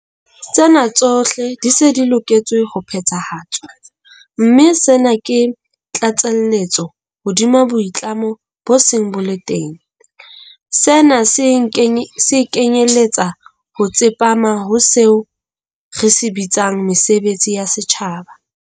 Tsena tsohle di se di loketse ho phethahatswa, mme sena ke tlatselletso hodima boitlamo bo seng bo le teng. Sena se kenyeletsa ho tsepama ho seo re se bitsang 'mesebetsi ya setjhaba.